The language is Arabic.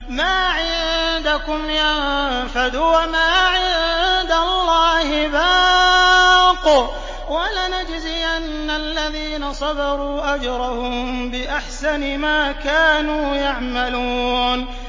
مَا عِندَكُمْ يَنفَدُ ۖ وَمَا عِندَ اللَّهِ بَاقٍ ۗ وَلَنَجْزِيَنَّ الَّذِينَ صَبَرُوا أَجْرَهُم بِأَحْسَنِ مَا كَانُوا يَعْمَلُونَ